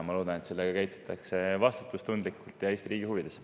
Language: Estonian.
Ma loodan, et käitutakse vastutustundlikult ja Eesti riigi huvides.